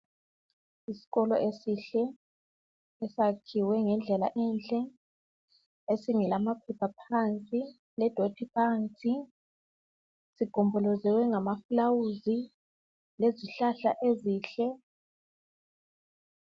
Isikolo esihle esakhiwe ngendlela enhle esingela maphepha phansi ledoti phansi sigombolozelwe ngamafulawuzi lezihlahla ezinhle.